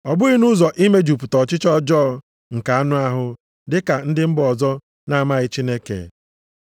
Ọ bụghị nʼụzọ imejupụta ọchịchọ ọjọọ nke anụ ahụ dị ka ndị mba ọzọ na-amaghị Chineke.